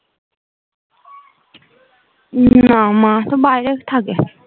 উম না মা তো বাইরে থাকে